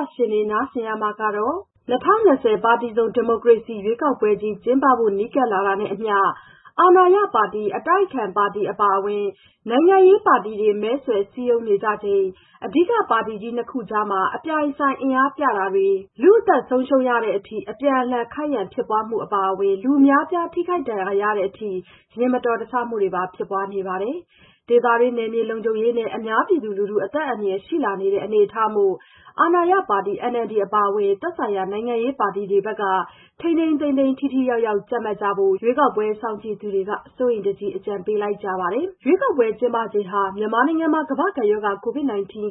ောတရှင်တွေ နားဆင်ရမှာကတော့-၂၀၂၀ ပါတီစုံ ဒီမိုကရေစီရွေးကောက်ပွဲကြီး ကျင်းပဖို့ နီးကပ်လာတာနဲ့အမျှ အာဏာရပါတီ၊ အတိုက်အခံပါတီ အပါအဝင် နိုင်ငံရေးပါတီတွေ မဲဆွယ်စည်းရုံးနေကြချိန် အဓိကပါတီကြီးနှစ်ခုကြားမှာ အပြိုင်အဆိုင် အင်အားပြတာတွေ လူ့အသက်ဆုံးရှုံးရတဲ့အထိ အပြန်အလှန် ခိုက်ရန်ဖြစ်ပွားမှုတွေအပါအဝင် လူအများအပြား ထိခိုက်ဒဏ်ရာရတဲ့အထိ ယာဉ်မတော်တဆမှုတွေပါ ဖြစ်ပွားနေပါတယ်။ ဒေသတွင်းနယ်မြေလုံခြုံရေးနဲ့ အများပြည်သူ လူထု အသက်အန္တရာယ်ရှိလာနေတဲ့ အနေအထားမို့ အာဏာရပါတီ NLD အပါအဝင် သက်ဆိုင်ရာနိုင်ငံရေးပါတီတွေဘက်က ထိန်းထိန်းသိမ်းသိမ်း ထိထိရောက်ရောက် ကြပ်မတ်ကြဖို့ ရွေးကောက်ပွဲစောင့်ကြည့်သူတွေက စိုးရိမ်တကြီး အကြံပေး လိုက်ကြပါတယ်။ ရွေးကောက်ပွဲကျင်းပချိန်ဟာ မြန်မာနိုင်ငံမှာ ကမ္ဘာ့ကပ်ရောဂါ ကိုဗစ်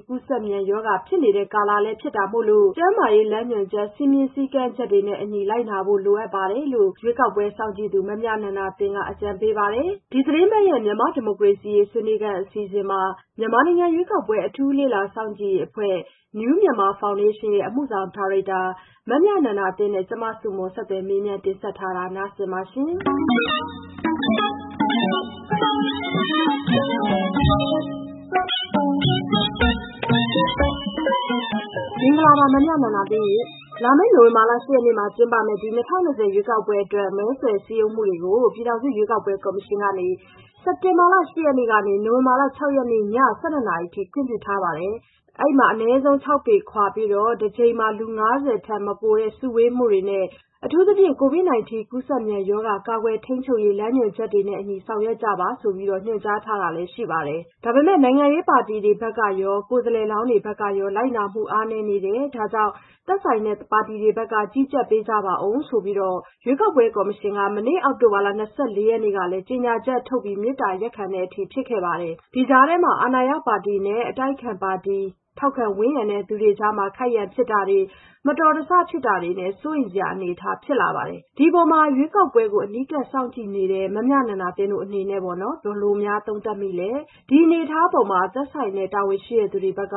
ကူးစက်မြန်ရောဂါဖြစ်နေတဲ့ ကာလလည်း ဖြစ်နေတာမို့လို့ ကျန်းမာရေးလမ်းညွှန်ချက် စည်းမျဉ်း စည်းကမ်းချက်တွေနဲ့အညီ လိုက်နာဖို့ အရေးတကြီး လိုအပ်ပါတယ်လို့ ရွေးကောက်ပွဲစောင့်ကြည့်သူ မမြနန္ဒာသင်း က အကြံပေးပါတယ်။ ဒီသီတင်းပတ်ရဲ့ မြန်မာ့ဒီမိုကရေစီရေးဆွေးနွေးခန်း အစီအစဉ်မှာ မြန်မာနိုင်ငံ ရွေးကောက်ပွဲအထူးလေ့လာစောင့်ကြည့်ရေးအဖွဲ့ New Myanmar Foundationရဲ့ အမှုဆောင်ဒါရိုက်တာ မမြနန္ဒာသင်းနဲ့ ကျမ ဆုမွန် ဆက်သွယ်မေးမြန်း တင်ဆက်ထားပါတယ်။ မင်္ဂလာပါ မမြနန္ဒာသင်းရှင့်။ လာမယ့်နိုဝင်ဘာလ ၈ရက်နေ့မှာ ကျင်းပမယ့် ၂၀၂၀ ရွေးကောက်ပွဲအတွက် မဲဆွယ်စည်းရုံးမှုတွေကို ပြည်ထောင်စုရွေးကောက်ပွဲကော်မရှင်ကနေ စက်တင်ဘာလ ၈ရက်နေ့ကနေ နိုဝင်ဘာလ ၆ရက်နေ့ ည ၁၂နာရီအထိ ခွင့်ပြုထားပါတယ်။ အနည်းဆုံး ၆ပေခွာပြီး တကြိမ်မှာ လူ၅၀ထက်မပိုတဲ့ စုဝေးမှုတွေ နဲ့ အထူးသဖြင့် ကိုဗစ်၁၉ ကူးစက်မြန်ရောဂါ ကာကွယ်ထိန်းချုပ်ရေးလမ်းညွှန်ချက်နဲ့အညီ ဆောင်ရွက်ကြပါဆိုပြီး ညွှန်ကြားထားတာလည်း ရှိပါတယ်။ ဒါပေမဲ့ နိုင်ငံရေးပါီတီတွေဘက်ကရော ကိုယ်စားလှယ်လောင်းတွေဘက်ကရော လိုက်နာမှုအားနည်းတယ် ဒါကြောင့် သက်ဆိုင်ရာပါတီတွေဘက်က ကြီးကြပ်ပေးကြပါဦးဆိုပြီးတော့ ရွေးကောက်ပွဲကော်မရှင်က မနေ့ အောက်တိုဘာလ ၂၄ရက်နေ့ကလည်း ကြေညာချက်ထုတ် မေတ္တာရပ်ခံရတဲ့အထိဖြစ်ခဲ့ပါတယ်။ ဒီကြားထဲမှာပါ အာဏာရပါတီနဲ့ အတိုက်အခံပါတီ ထောက်ခံဝန်းရံသူတွေကြားမှာ ခိုက်ရန်ဖြစ်ပွားတာတွေ မတော်တဆဖြစ်မှုတွေနဲ့ စိုးရိမ်စရာ အနေအထားဖြစ်လာနေပါတယ်။ ဒီအပေါ် ရွေးကောက်ပွဲအနီးကပ်စောင့်ကြည့်နေတဲ့ မမြနန္ဒာသင်းတို့အနေနဲ့ ဘယ်လိုသုံးသပ်မိပါလဲ နောက် ဒီအနေအထားပေါ်မှာ သက်ဆိုင်ရာတာဝန်ရှိသူတွေဘက်က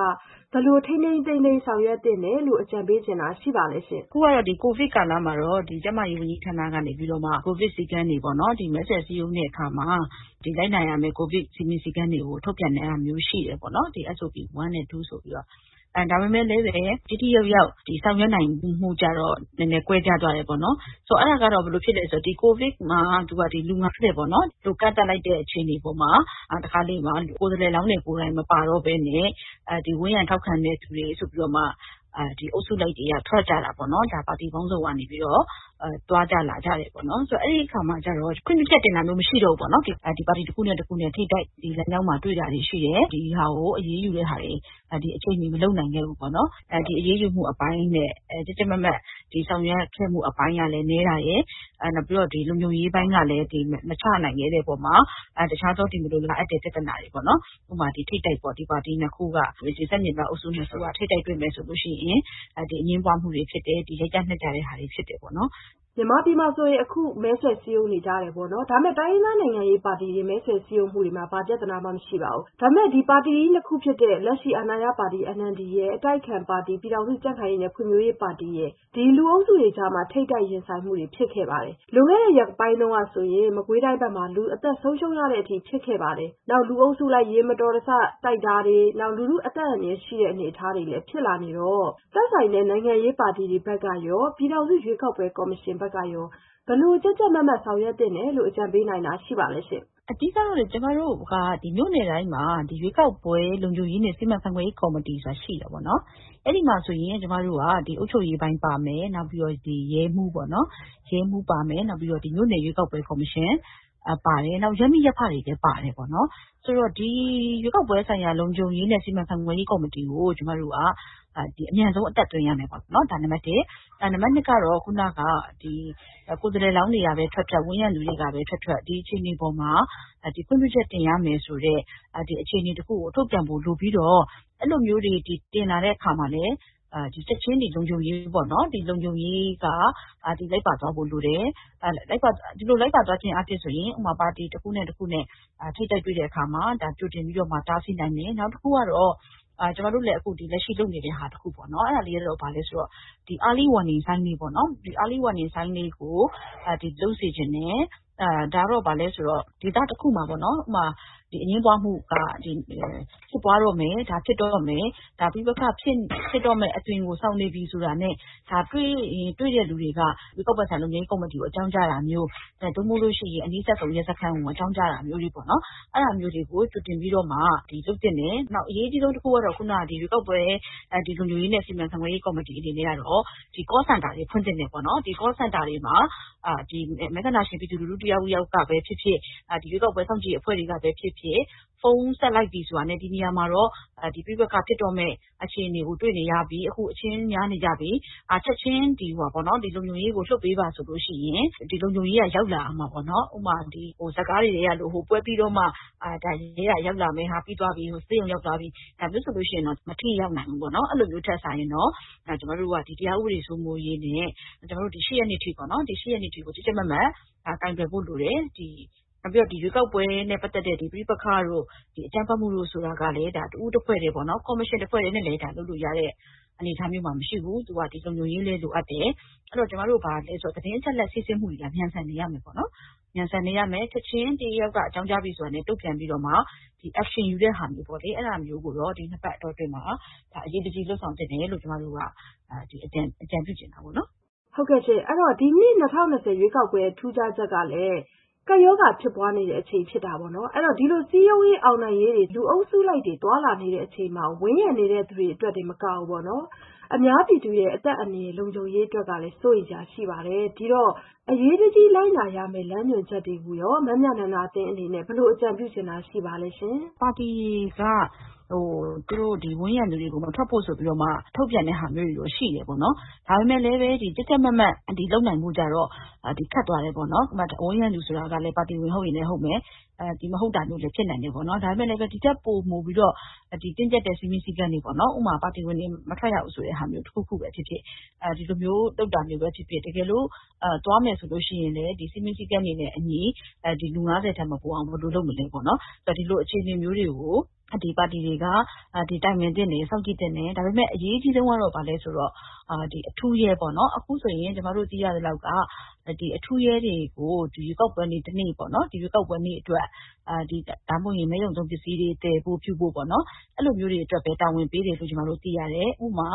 ဘယ်လို ထိန်းထိန်းသိမ်းသိမ်း ကြပ်မတ်ဆောင်ရွက်သင့်တယ်လို့ အကြံပေးချင်တာရှိပါလဲရှင်။ မမြနန္ဒာသင်း။ ။ အခုကတော့ ကိုဗစ်ကာလ မှာတော့ ကျန်းမာရေးဝန်ကြီးဌာကနေပြီးတော့ ကိုဗစ်စည်းကမ်းတွေပေါ့နော် ဒီမဲဆွယ်စည်းရုံးတဲ့အခါမှာ လိုက်နာရမယ့် ကိုဗစ်စည်းမျဉ်းစည်းကမ်းတွေကို ထုတ်ပြန်တာမျိုး ရှိတယ်။ ဒါပေမဲ့လည်း ထိထိရောက်ရောက်ဆောင်ရွက်နိုင်မှုကျတော့ နည်းနည်းကွဲပြားသွားတယ်ပေါ့နော်။ ဆိုတော့ အဲ့တာက ဘယ်လိုဖြစ်သလဲ ဆိုတော့ ကိုဗစ်ကာလမှာ လူ လို့ ကန့်သတ်လိုက်တဲ့အချိန်မှာ တခါတလေမှာ ကိုယ်စားလှယ်လောင်းတွေ မပါတော့ပဲနဲ့ ဝန်းရံထောက်ခံတဲ့သူတွေဆိုပြီးတော့မှ အုပ်စုလိုက် လူတွေထွက်ကြတာပေါ့နော် ပါတီပေါင်းစုံကနေပြီးတော့ သွားကြလာကြတယ်ပေါ့နော်။ ဆိုတော့ အဲ့ဒီ့အခါမှာ ခွင့်ပြုချက်တင်တာတွေမရှိတော့ဘူးပေါ့။ အဲ့ဒီ့မှာ ပါတီတခုနဲ့တခု လမ်းကြောင်းတွေမှာ ထိပ်တိုက်တွေ့တာတွေရှိလာတယ်။ ဒီဟာတွေကို အရေးယူတာတွေ အချိန်မီမလုပ်နိုင်ခဲ့ဘူးပေါ့နော်။ အရေးယူမှုအပိုင်းနဲ့ ကြပ်ကြပ်မတ်မတ် ဆောင်ရွက်ခဲ့မှုအပိုင်းကလည်း နည်းတာရယ်၊ လုံခြုံရေးပိုင်းကလည်း မချနိုင်ခဲ့တဲ့အပေါ်မှာ တခြားသော မလိုလားအပ်တဲ့ပြဿနာတွေ ထိပ်တိုက်ပေါ့နော် ပါတီနှစ်ခု ဆန့်ကျင်ဘက်အုပ်စုနှစ်ခုက ထပ်တိုက်တွေ့ပြီး အငြင်းပွားမှုတွေဖြစ်တယ်။ ရိုက်ကြနှက်ကြတာတွေဖြစ်တယ်ပေါ့နော်။ မဆုမွန်။ ။ဟုတ်ကဲ့ အခုဆို မြန်မာပြည်မှာဆိုရင် စပြီးတော့ မဲဆွယ်စည်းရုံးနေကြတယ်ပေါ့နော် ဒါပေမဲ့ တိုင်းရင်းသား နိုင်ငံရေးပါတီတွေ မဲဆွယ်စည်းရုံးနေကြတယ် ဘာပြဿနာမှ မရှိဘူး ဒါပေမဲ့ ပါတီကြီးနှစ်ခုဖြစ်တဲ့ လက်ရှိ အာဏာရပါတီ NLDရယ် အတိုက်အခံပါတီ ပြည်ထောင်စုကြံ့ခိုင်ရေးနဲ့ဖွံ့ဖြိုးရေးပါတီရယ်မှာ ထိပ်တိုက် ရင်ဆိုင်မှုတွေရှိတယ် လွန်ခဲ့တဲ့ရက်ပိုင်းမှာ ဆို လူအသက်ဆုံးရှုံးရတဲ့ အထိဖြစ်ရခဲ့ပါတယ် လူအုပ်စုလိုက် ယာဉ်မတော်တဆ ထိခိုက်မှုဖြစ်တဲ့အထိ လူထုအသက်အန္တရာယ်ရှိတဲ့အထိဖြစ်လာတဲ့ အနေအထားဖြစ်လာနေတော့- ဒီအပေါ်မှာ သက်ဆိုင်ရာနိုင်ငံရေးပါတီတွေဘက်ကရော ပြည်ထောင်စုရွေးကောက်ပွဲ ကော်မရှင်ဘက်ကရော ဘယ်လိုကြပ်ကြပ်မတ်မတ် ဆောင်ရွက်သင့်တယ်လို့ အကြံပေးနိုင်တာ ရှိပါလဲရှင့်။ မမြနန္ဒာသင်း။ ။ အဓိက ကတော့လေ ကျမတို့ မြို့နယ်တိုင်းမှာ " ရွေးကောက်ပွဲလုံခြုံရေးနဲ့ စီမံခန့်ခွဲရေးကော်မတီ" ဆိုတာရှိတယ်။ အဲ့ဒီ့မှာဆိုရင် အုပ်ချုပ်ရေးပိုင်းပါမယ်။ နောက် ရဲမှူးပါမယ် နောက် မြို့နယ်ရွေးကောက်ပွဲကော်မရှင်ပါမယ်။ နောက် ရပ်မိရပ်ဖတွေလည်းပါမယ်ပေါ့နော်။ ဆိုတော့ ရွေးကောက်ပွဲလုံခြုံရေးနဲ့ စီမံခန့်ခွဲရေးကော်မတီ ကို ကျမတို့က အမြန်ဆုံးအသက်သွင်းရမယ် ဒါ နံပတ်တစ်။ နံပတ်နှစ်ကတော့ ကိုယ်စားလှယ်လောင်းတွေကပဲ ထွက်ထွက် ဝန်းရံသူတွေကပဲ ထွက်ထွက် ဒီအခြေအနေအပေါ်မှာ ခွင့်ပြုချက်တင်ရမယ်ဆိုတဲ့ အခြေအနေတခုကို ထုတ်ပြန်ဖို့လိုပြီးတော့ အဲ့လိုမျိုး တင်လာတဲ့အပေါ်မှာလည်း ချက်ခြင်း လုံခြုံရေးပေါ့နော်။ လုံခြုံရေးက တပါတည်းလိုက်ပါသွားဖို့လိုတယ်ပေါ့နော်။ ဒီလိုလိုက်ပါသွားခြင်းအားဖြင့် ဥပမာ ပါတီ တခုနဲ့တခုနဲ့ ထိပ်တိုက်တွေ့တဲ့အခါမှာ ကြိုတင်ပြီးတော့ တားဆီးနိုင်မယ်။ နောက်တခုကတော့ ကျမတို့ အခုလက်ရှိလုပ်နေတဲ့ဟာလေးရှိတယ်။ ဘာလဲဆိုတော့ Early Warning Signs လေးပေါ့နော် Early Warning Signs လေးကို လုပ်စေချင်တယ်။ အဲ့တာကတော့ ဥပမာ ဒေသတခုမှာ အငြင်းပွားမှု ဖြစ်တော့မယ် ၊ ပဋိပက္ခဖြစ်ပွားမှု အသွင်ကို ဆောင်နေပြီဆိုတာနဲ့ တွေ့ရင် တွေ့တဲ့သူကနေ ရွေးကောက်ပွဲကော်မရှင်ကို ချက်ခြင်းအကြောင်းကြားတာမျိုး ဒါမှမဟုတ်ရင် နီးစပ်ရာရဲစခန်းကို အကြောင်းကြားတာမျိုးတွေပေါ့နော် အဲ့တာမျိုးတွေကို အရေးတကြီးလုပ်သင့်တယ်။ နောက်တခု အရေးအကြီးဆုံးကတော့ " ရွေးကောက်ပွဲလုံခြုံရေးနဲ့ စီမံခန့်ခွဲရေးကော်မတီ" အနေနဲ့ကတော့ Call Center တွေဖွင့်သင့်တယ်။ ဒီ Call Center တွေမှာ မဲဆန္ဒရှင်ပြည်သူလူထု တယောက်ယောက်ကပဲဖြစ်ဖြစ် ရွေးကောက်ပွဲစောင့်ကြည့်ရေးအဖွဲ့တွေကပဲဖြစ်ဖြစ် ဖုန်းဆက်လိုက်ပြီဆိုတာနဲ့ ဒီနေရာမှာတော့ ပဋိပက္ခဖြစ်တော့မယ့် အခြေအနေကိုတွေ့နေရပြီ။ အခုအချင်းများနေကြပြီ။ ချက်ခြင်းလုံခြုံရေးကို လွှတ်ပေးပါ ဆိုလို့ရှိရင် လုံခြုံရေးက ရောက်လာရမှာပေါ့နော် ဒါပေမဲ့ ရုပ်ရှင်ဇာတ်ကားတွေထဲမှာ ရဲက ပွဲပြီးသွားမှ ရောက်လာတာမျိုး ဆေးရုံရောက်ကုန်ကြပြီးမှ ရောက်လာတမျိုး ဒါမျိုးဆိုရင်တော့-မထိရောက်နိုင်ဘူးပေါ့နော်။ အဲ့တာမျိုးတွေထက်စာရင် ကျမတို့က ဒီတရားဥပဒေစိုးမိုးရေးနဲ့ လာမယ့်၈ရက်နေ့အထိ ကြပ်ကြပ်မတ်မတ် ကိုင်တွယ်ဖို့လိုတယ်။ နောက် ရွေးကောက်ပွဲနဲ့ပတ်သက်တဲ့ ပဋိပက္ခတို့ အကြမ်းဖက်မှုတို့ကို ကိုင်တွယ်ဖြေရှင်းဖို့ဆိုတာကလည်း ရွေးကောက်ပွဲကော်မရှင် တခုတည်းနဲ့ လုပ်လို့ရတဲ့ အနေအထားမျိုးမှာ မရှိဘူး။ သူက လုံခြုံရေးလည်း လိုအပ်တယ်။ နောက် သတင်းအချက်အလက် စီးဆင်းမှုတွေကလည်း မြန်ဆန်နေရမယ်ပေါ့နော်။ ချက်ခြင်း တယောက်ယောက်က အကြောင်းကြားပြီဆိုတာနဲ့ တုန့်ပြန်ပြီးတော့မှ Action ယူတဲ့ဟာမျိုးကို ဒီနှစ်ပတ်အတောအတွင်းမှာ အရေးတကြီးလုပ်ဆောင်သင့်တယ်လို့ ကျမတို့က အကြံပြုချင်တာပေါ့နော်။ မဆုမွန်။ ။ ဟုတ်ကဲ့။ ဒီနှစ် ၂၀၂၀ ရွေးကောက်ပွဲရဲ့ထူးခြားချက်ကလည်း ကပ်ရောဂါဖြစ်ပွားနေချိန်လည်းဖြစ်တာပေါ့နော်။ ဒီလိုစည်းရုံးရေး အောင်နိုင်ရေးတွေ လူအုပ်လိုက်ကြီးတွေ သွားလာနေကြတဲ့အပေါ် ဝန်းရံနေတဲ့သူတွေတင်မက အများပြည်သူ ကျန်းမာရေး အသက်အန္တရာယ် လုံခြုံရေးတွေအတွက် အရေးတကြီးလိုက်နာရမယ့်လမ်းညွှန်ချက်တွေအပေါ် မမြနန္ဒာသင်းအနေနဲ့ ဘယ်လိုအကြံပြုချင်တာ ရှိပါသလဲရှင်။ မမြနန္ဒာသင်း။ ။ ပါတီတွေက သူတို့ကို ဝန်းရံတဲ့သူတွေကို မထွက်ဖို့ဆိုပြီးတော့မှ ထုတ်ပြန်တဲ့ဟာမျိုးတွေတော့ ရှိတယ်ပေါ့နော်။ ဒါပေမဲ့လည်း ကြပ်ကြပ်မတ်မတ် လုပ်နိုင်ဖို့က ခက်သွားတယ်ပေါ့နော် ဘာဖြစ်လို့လဲဆိုတော့ ဝန်းရံသူဆိုတာကလည်း ပါတီဝင် ဟုတ်ရင်လည်းဟုတ်မယ်။ မဟုတ်တာမျိုးတွေလည်း ရှိနိုင်တယ် ဒါပေမဲ့လည်းပဲ ဒီ့ထက်ပိုမိုပြီးတင်းကျပ်တဲ့ စည်းမျဉ်းစည်းကမ်းတွေပေါ့နော် ဥပမာ ပါတီဝင်တွေ လုံးဝမထွက်ရဘူးဆိုတာမျိုး တကယ်လို့ ထွက်မယ်သွားမယ်ဆိုရင်လည်း စည်းမျဉ်းစည်းကမ်းတွေနဲ့အညီ လူ ထက်မပိုအောင် ဘယ်လိုလုပ်မလဲပေါ့။ ဒီလိုအခြေအနေမျိုးတွေကို ဒီပါတီတွေက တိုင်ပင်သင့်တယ် စောင့်ကြည့်သင့်တယ်။ အရေးအကြီးဆုံးက ဘာလဲဆိုတော့ အထူးရဲပေါ့နော် အခုဆိုရင် ကျမတို့သိရသလောက်က အထူးရဲတွေကို ရွေးကောက်ပွဲနေ့ တနေ့အတွက် နောက်ပြီး မဲရုံသုံးပစ္စည်းတွေ သယ်ဖို့ပြုဖို့ပေါ့နော် အဲ့လိုမျိုးတွေအတွက်ပဲ တာဝန်ပေးတယ်လို့ ကျမတို့သိရတယ် ။ ဥပမာ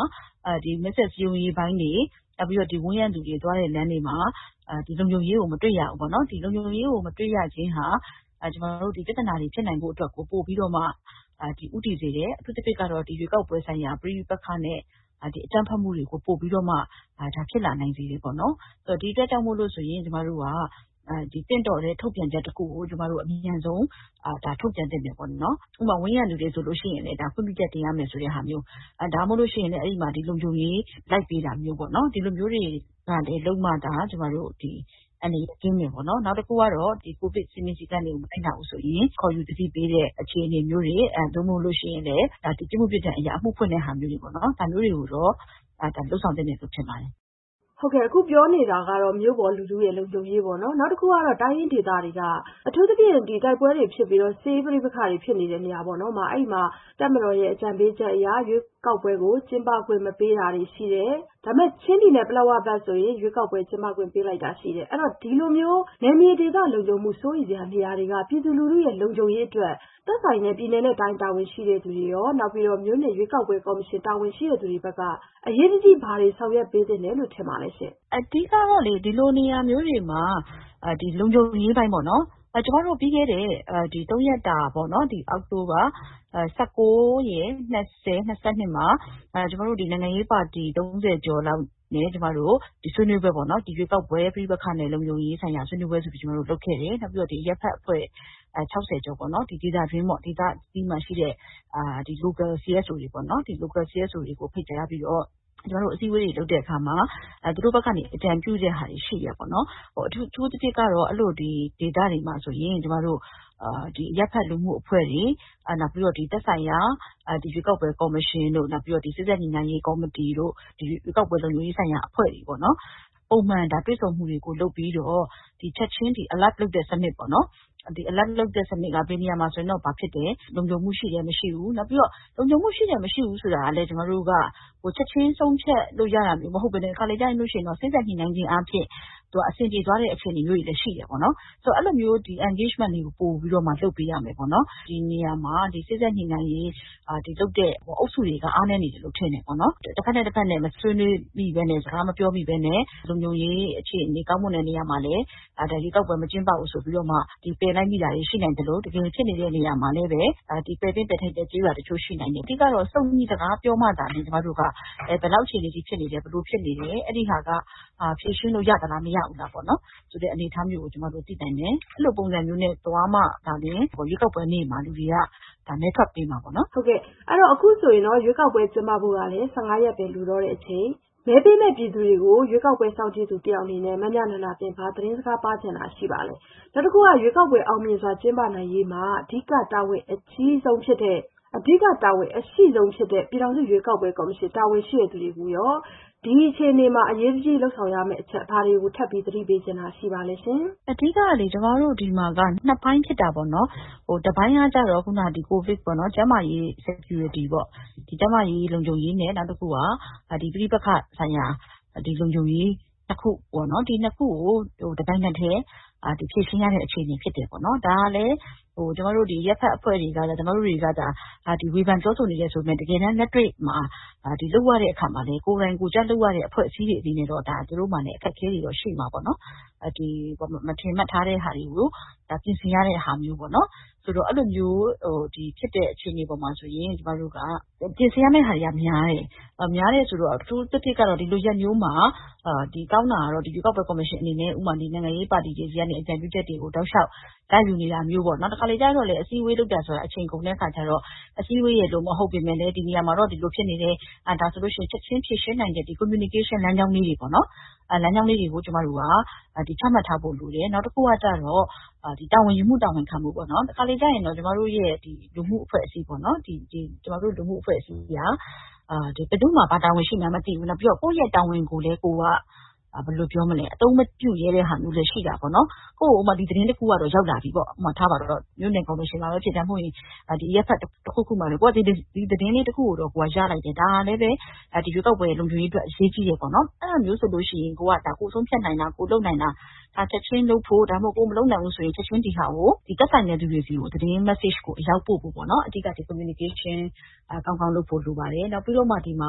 မဲဆွယ်စည်းရုံးရေးပိုင်းတွေ နောက်ပြီးတော့ ဝန်းရံသူတွေ သွားတဲ့လမ်းတွေမှာ လုံခြုံရေးကို မတွေ့ရဘူးပေါ့နော်။ လုံခြုံရေးကို မတွေ့နိုင်ခြင်းဟာဒီပြဿနာတွေကို ဖြစ်နိုင်ဖို့အတွက်ကို ပိုပြီးတော့မှ ဦးတည်စေတယ်။ အထူးသဖြင့် ရွေးကောက်ပွဲဆိုင်ရာ ပဋိပက္ခနဲ့ အကြမ်းဖက်မှုတွေကို ပိုပြီးဖြစ်လာနိုင်စေတယ်ပေါ့နော်။ ဒီအတွက် ကျမတို့သင့်တော်တဲ့ ထုတ်ပြန်ချက်တခုကို အမြန်ဆုံး ထုတ်ပြန်သင့်တယ်ပေါ့နော်။ ဥပမာ ဝန်းရံသူတွေ ခွင့်ပြုချက်တင်ရမယ်ဆိုတဲ့ဟာမျိုး ဒါမှမဟုတ်ရင်လည်း လုံခြုံရေးလိုက်တာမျိုး ဒီလိုမျိုးတွေ လုပ်မှသာ အန္တရာယ်ကင်းမယ်ပေါ့နော်။ နောက်တခုကတော့ ကိုဗစ်စည်းမျဉ်းစည်းကမ်းတွေကို မလိုက်နာဘူးဆိုရင် ခေါ်ယူသတိပေးတဲ့ အခြေအနေမျိုးတွေ နောက် ပြစ်မှုပြစ်ဒဏ်အရ အမှုဖွင့်တဲ့ဟာမျိုးတွေပေါ့နော် ဒါမျိုးတွေကိုတော့ လုပ်ဆောင်သင့်တယ်ထင်ပါတယ်။ မဆုမွန်။ ။ ဟုတ်ကဲ့ အခုပြောနေကြတာက မြို့ပေါ် လူထုလုံခြုံရေးပေါ့နော် နောက်တခုက တိုင်းရင်းဒေသတွေမှာ အထူးသဖြင့် တိုက်ပွဲတွေဖြစ်နေတာ စစ်ရေးပဋိပက္ခတွေဖြစ်နေတဲ့နေရာတွေမှာ တပ်မတော်ရဲ့အကြံပေးချက်အရ ရွေးကောက်ပွဲ ကျင်းပခွင့်မပေးတာရှိတယ် ။ ချင်းပြည်နယ်ပလက်ဝဘက်ဆို ရွေးကောက်ပွဲကျင်းပခွင့်ပေးလိုက် လည်းရှိတယ်။ အဲ့လို နယ်မြေဒေသလုံခြုံမှုစိုးရိမ်စရာနေရာတွေက ပြည်သူလူထုရဲ့ လုံခြုံရေးတွေအတွက် သက်ဆိုင်ရာ ပြည်နယ်တိုင်းတာဝန်ရှိသူတွေရော မြို့နယ်ရွေးကောက်ပွဲကော်မရှင်တာဝန်ရှိသူတွေဘက်က အရေးတကြီး ဘာတွေဆောင်ရွက်ပေးသင့်တယ်လို့ထင်ပါလဲရှင့်။ မမြနန္ဒာသင်း။ ။ အဓိက ကတော့လေ ဒီလိုနေရာမျိုးတွေမှာ လုံခြုံရေးပိုင်းက အရေးကြီးပါတယ်။ ပြီးခဲ့တဲ့သုံးရက်တာ အောက်တိုဘာ ၁၉ရယ် ၂၀ရယ် ၂၂ မှာ နိုင်ငံရေးပါတီ သုံးဆယ်ကျော်လောက်နဲ့ ဆွေးနွေးကြတယ်။ ရွေးကောက်ပွဲ ပဋိပက္ခနဲ့ လုံခြုံရေးပိုင်းဆိုင်ရာဆွေးနွေးပွဲဆိုပြီး ကျမတို့လုပ်ခဲ့တယ် နောက် အရပ်ဖက်အဖွဲ့ ၆၀ကျော် ဒေသတွင်းမှာရှိတဲ့ Local CSOs တွေရောပေါ့နော် သူတို့ကိုပါ ဖိတ်ကြားပြီး အစည်းအဝေးတွေ လုပ်တဲ့အခါမှာ သူတို့ဘက်ကနေ အကြံပြုတဲ့ဟာတွေရှိတယ်။ အထူးသဖြင့်ကတော့ ဒီလိုဒေသတွေမှာဆိုရင် အရပ်ဖက်လူမှုအဖွဲ့တွေ သက်ဆိုင်ရာ ရွေးကောက်ပွဲကော်မရှင်တို့ နောက်ပြီးတော့ စေ့စပ်ညှိနှိုင်းရေးကော်မတီတို့ ရွေးကောက်ပွဲလုံခြုံရေးပိုင်းဆိုင်ရာအဖွဲ့တွေပေါ့နော် ပုံမှန်တွေ့ဆုံမှုတွေကို လုပ်ပြီးတော့ ချက်ခြင်း Alert လုပ်တဲ့စနစ်ပေါ့နော်။ ဒီAlert စနစ်က ဘယ်နေရာမှာ ဘာဖြစ်နေတယ် လုံခြုံမှုရှိတယ် မရှိဘူး နောက်ပြီးတော့ လုံခြုံမှုရှိတယ် မရှိဘူးဆိုတာကလည်း ချက်ခြင်းဆုံးဖြတ်လို့ ရတာမဟုတ်ပဲနဲ့ တခါတလေမှာ စေ့စပ်ညှိနှိုင်းခြင်းအားဖြင့် အဆင်ပြေသွားတာမျိုးတွေလည်းရှိတယ်။ ဆိုတော့ အဲ့သလိုမျိုး Engagement တွေကိုလည်း လုပ်ပေးရမယ်ပေါ့နော်။ ဒီနေရာမှာ စေ့စပ်ညှိနှိုင်းမှုကို လုပ်ပေးနေတဲ့အုပ်စုတွေက အားနည်းနေတယ်လို့ထင်တယ်။ တဘက်နဲ့တဘက် မဆွေးနွေးမိပဲနဲ့ စကားမပြောမိပဲနဲ့ လုံခြုံရေးအခြေအနေ ကောင်းမွန်တဲ့နေရာမှာလည်း ရွေးကောက်ပွဲကျင်းပနိုင်ခြေမရှိဘူးဆိုပြီး ပယ်လိုက်မိတာတွေရှိနိုင်သလို တကယ်ဖြစ်ပွားနေတဲ့နေရာတွေမှာ ပယ်သင့်ပယ်ထိုက်တဲ့နေရာတွေလည်းရှိနိုင်တယ်။ အဓိက ကတော့ စုံညီစကားပြောကြမှာသာလျှင် ဘယ်နေရာက ဘယ်လောက်အခြေအနေအထိဖြစ်နေတယ် ဘယ်လိုဖြစ်နေတယ် အဲ့ဒီ့ဟာက ဖြေရှင်းလို့ရသလား မရဘူးလားဆိုတာ ကျမတို့သိနိုင်မယ်။ အဲ့လိုမျိုးသွားမှာသာလျှင် ရွေးကောက်ပွဲနေ့မှာ လူတွေ မဲထွက်ပေးမှာပေါ့နော်။ မဆုမွန်။ ။ ဟုတ်ကဲ့ပါ အခုဆိုရင် ရွေးကောက်ပွဲကျင်းပဖို့ကလည်း ရက်ပဲလိုတော့တဲ့အချိန်မှာ မဲပေးမယ့်ပြည်သူကို ရွေးကောက်ပွဲစောင့်ကြည့်သူအနေနဲ့ ဘာသတင်းစကားပါးချင်တာရှိပါလဲ။ ရွေးကောက်ပွဲအောင်မြင်စွာကျင်းပနိုင်ရေး အဓိက တာဝန်အရှိဆုံးဖြစ်တဲ့ ပြည်ထောင်စုရွေးကောက်ပွဲကော်မရှင်တာဝန်ရှိသူတွေကိုရော အရေးတကြီး လုပ်ဆောင်ရမယ့်အချက်တွေကို သတိပေးချင်တာရှိပါလဲရှင်။ မမြနန္ဒာသင်း။ ။ အဓိကက ကျမတို့ဆီမှာက ပိုင်းဖြစ်တာပေါ့နော်။ တပိုင်းက ကိုဗစ်ပေါ့ ကျန်းမာရေး Security ပေါ့ ကျန်းမာရေးလုံခြုံရေးနဲ့ ပဋိပက္ခဒေသ လုံခြုံရေး ခုပေါ့။ အဲ့၂ခုက အခုက တပြိုင်နက်တည်း ဖြေရှင်းနေရတဲ့ အချိန်ဖြစ်တယ် ဒါကလည်း ကျမတို့ဒီ အရပ်ဖက်အဖွဲ့အစည်းတွေဘက်က ဝေဖန်ပြောဆိုအကြံပေးနေတယ်ဆိုပေမဲ့ တကယ်တမ်းလက်တွေ့မှာ ကိုယ်တိုင်ကိုယ်ကျ လက်တွေ့မှာ လုပ်နေရတဲ့အဖွဲ့အစည်းတွေမှာ သူတို့မှာလည်း အခက်အခဲတွေရှိမှာပေါ့နော်။ မထင်မှတ်ထားတဲ့ဟာတွေကို ပြင်ဆင်ရတဲ့ဟာမျိုးပေါ့နော်။ အဲ့လိုဖြစ်တဲ့ အခြေအနေအပေါ်မှာဆိုရင် အထူးသဖြင့်ကတော့ ဒီလိုရက်မျိုးမှာ ရွေးကောက်ပွဲကော်မရှင်အနေနဲ့ကောင်းတာက နိုင်ငံရေးပါတီတွေဘက်က အကြံပြုချက်တွေ ရယူတာမျိုးပေါ့ တခါတလေကျတော့လည်း အစည်းအဝေးလုပ်နေတာက အချိန်ကုန်တဲ့အခါကျတော့ အစည်းအဝေးပုံစံမျိုးမဟုတ်ပဲ ဒီနေရာမှာတော့ ဒါတွေဖြစ်နေတယ် ချက်ခြင်းဖြေရှင်းနိုင်တဲ့ပုံစံပေါ့ Communication ဆက်သွယ်ရေးလမ်းကြောင်းလေးတွေ ချမှတ်ထားဖို့လိုတယ်။ နောက် တခါတလေကျတော့ တာဝန်ယူမှု တာဝန်ခံမှုပေါ့ ကျမတို့ လူမှုအဖွဲ့အစည်းက ဘယ်သူ့မှာ ဘာတာဝန်ရှိမှန်းမသိဘူး နောက် ကိုယ့်ရဲ့တာဝန်ကိုလည်း အသုံးမပြုရဲတဲ့ဟာမျိုးလည်းရှိတာပေါ့နော်။ ဥပမာ သတင်းတခုရောက်လာပြီဆိုပါစို့ မြို့နယ်ကော်မရှင်မှာပဲဖြစ်ဖြစ် အရပ်မှာ ဖြစ်နေတာကို သတင်းတခုကို ကိုယ်က ရလိုက်တယ် ဒါကလည်းပဲ ရွေးကောက်ပွဲလုံခြုံရေးအတွက် အရေးကြီးတယ် အဲ့တာမျိုးဆိုလို့ရှိရင် ကိုယ်ဆုံးဖြတ်နိုင်တာ ကိုယ်လုပ်နိုင်တာ ဒါကို ချက်ခြင်းလုပ်ဖို့။ ကိုယ်က ချက်ခြင်း မလုပ်နိုင်ဘူးဆိုရင်လည်း သက်ဆိုင်တဲ့သူတွေကို သတင်းမတ်ဆေ့ကို အရောက်ပို့ဖို့ပေါ့နော် အဓိက Communication ကောင်းကောင်းလုပ်ဖို့လိုပါတယ်။ နောက်ပြီးတော့ ဒီမှာ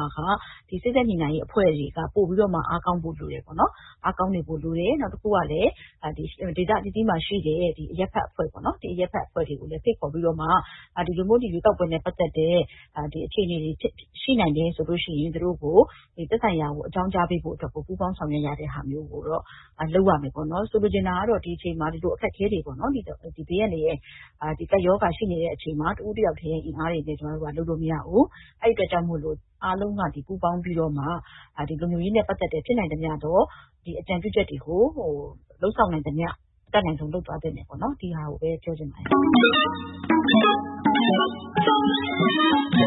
က စေ့စပ်ညှိနှိုင်းရေးအဖွဲ့တွေက ပိုပြီးတော့မှ အားကောင်းဖို့လိုပါမယ်ပေါ့နော်။ နောက်ပြီးတော့ ဒေသအသီးသီးမှာရှိတဲ့အရပ်ဖက်အဖွဲ့အစည်းတွေကိုလည်း ဖိတ်ခေါ်ပြီးတော့မှ ဒီလိုမျိုး ရွေးကောက်ပွဲနဲ့ပတ်သက်တဲ့ အခြေအနေတွေရှိနိုင်တယ်ဆိုလို့ရှိရင် သက်ဆိုင်ရာကို အကြောင်းကြားပေးဖို့ သူတို့ကို ပူးပေါင်းဆောင်ရွက်တဲ့ဟာမျိုး လုပ်ရမယ်ပေါ့နော်။ ဆိုလိုချင်တာက ဒီအချိန်မှာ အခက်အခဲတွေပေါ့နော် ဘေးအန္တရာယ်အခက်အခဲတွေ ကပ်ရောဂါတွေလည်းရှိနေတဲ့အချိန်မျိုးမှာ တဦးတယောက်တည်း အင်အားနဲ့လည်း ကျမတို့လုပ်လို့မရဘူး။ အဲ့ဒီ့အတွက်ကြောင့်မို့လို့ အားလုံးက ဝိုင်းဝန်းပူးပေါင်းပြီးမှ လုံခြုံရေးနဲ့ပတ်သက်တဲ့ ဖြစ်နိုင်သမျှသော အကြံပြုချက်တွေကို လုပ်ဆောင်နိုင်သမျှ အတတ်နိုင်ဆုံး လုပ်သွားသင့်တယ်ပေါ့နော် ဒီဟာကို အဓိကပြောချင်ပါတယ်